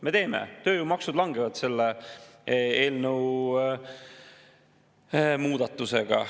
Me teeme seda, tööjõumaksud langevad selle seadusemuudatusega.